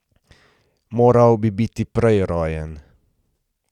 Moral bi biti prej rojen.